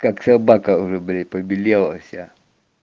как собака выбери побелела вся